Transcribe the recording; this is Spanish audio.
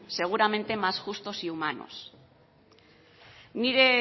seguramente más justos y humanos nire